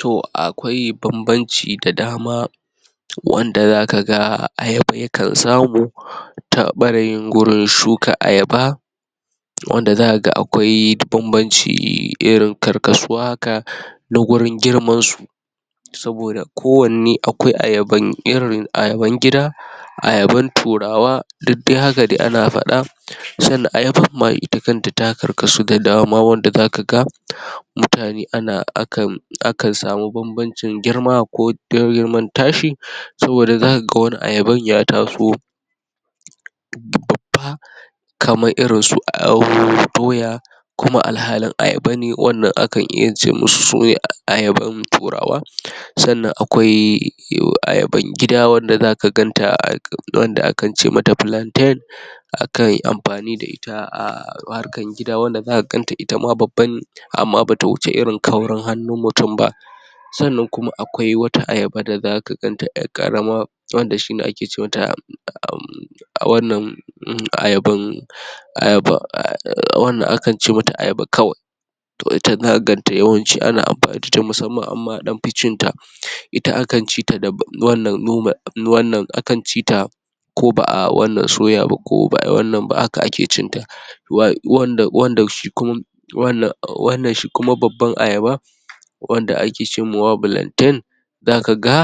To akwai bam-banci da dama wanda za ka ga ayab yakan samu, ta ɓarayin gurin shuka ayaba. Wanda za ka ga akwai bam-banci irin karkasuwa haka na gurin girmansu. Saboda ko wanne akwai ayaban irin ayaban gida, ayaban turawa, duk dai haka dai ana faɗa. Sannan ayabar ma ita kanta ta karkasu da dama wanda za ka ga mutane ana akan akan samu bam-banci girma ko Saboda za ka ga wani ayaban ya taso bab babba kamar irin su aaa doya kuma alhalin ayaba ne. Wannan akan iya ce musu sune ayaban turawa. Sannan akwai ee ayaban gida wanda zaka ganta wanda akan ce mata plantain akan yi amfani da ita a harkar gida wanda za ka ganta itama babba ne amma bata wuce irin kaurin hannun mutum ba. Sannan kuma akwai wata ayaba da za ka ganta ƴar ƙarama wanda shine ake ce ma ta aam a wannan ayaban ayaba aam wannan akan ce ma ta ayaba kawai. To ita za ka ganta yawanci ana amfani da ita musamman amma an ɗan fi cinta. Ita akan ci ta da wannan normal in wannan akan ci ta ko ba'a wannan soya ba ko ba'a yi wannan ba haka ake cin ta. Wa wanda shi kuma wa wanda shi kuma babban ayaba, wanda ake ce mawa plantain, za ka ga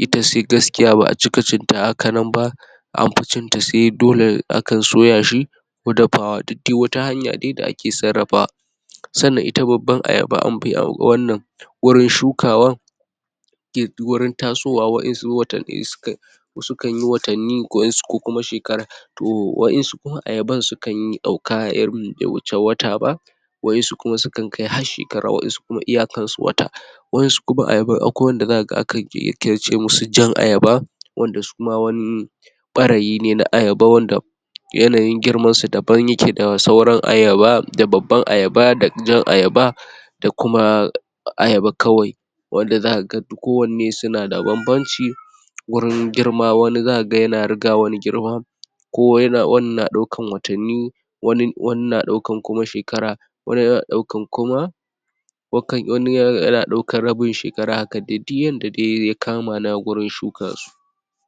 ita se gaskiya ba'a cika cinta haka nan ba an fi cinta sai dole akan soya shi, ko dafawa duk dai wata hanya dai da ake sarrafawa. Sannan ita babban ayaba an fi wannan wurin shukawan wurin tasowa waƴansu watanni su ka su kan yi watanni waƴansu ko kuma shekara. To waƴansu kuma ayaban su kan yi ɗauka a irin bai wuce watat ba waƴansu kuma sukan kai har shekara, waƴansu kuma iyakarsu wata. waƴansu kuma ayaban akwai wanda za ka ga akan shi ake ce musu jan ayaba, wanda su ma wani ɓarayi ne na ayaba wanda yanayin giramansu daban ya ke da sauran ayaba, da babban ayaba, da jan ayaba, da kuma ayaba kawai. Wanda za ka ga kowanne su na da bam-banci wurin girma, wani za ka ga ya na riga wani girma, ko ya na wannan na ɗaukan watanni, wani, wani na ɗaukan kuma shekara, wani na ɗaukan kuma wakan wani ya ya na ɗaukan rabin shekara haka. Haka dai duk yanda dai ya kama na wurin shuka su.